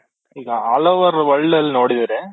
ಈಗ all over world ಅಲ್ಲಿ ನೋಡಿದ್ರೆ